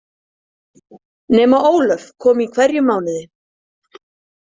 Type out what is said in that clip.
Nema Ólöf kom í hverjum mánuði.